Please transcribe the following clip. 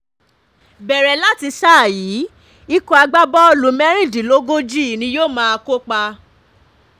um bẹ̀rẹ̀ láti sáà yìí um ikọ̀ agbábọ́ọ̀lù mẹ́rìndínlógójì ni yóò máa kópa